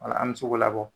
Wala an bɛ se k'o labɔ